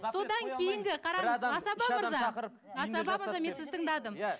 содан кейінгі қараңыз асаба мырза асаба мырза мен сізді тыңдадым иә